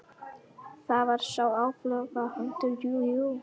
Það var sá áflogahundur, jú, jú.